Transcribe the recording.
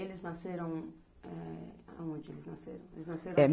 E eles nasceram é a onde eles nasceram, eles nasceram